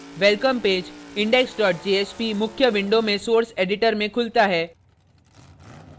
welcome page index jsp मुख्य window में source editor में खुलता है